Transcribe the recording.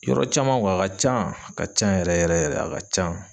Yɔrɔ caman a ka can a ka can yɛrɛ yɛrɛ yɛrɛ a ka can.